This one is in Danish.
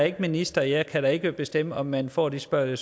ikke minister og jeg kan da ikke bestemme om man får de svar eller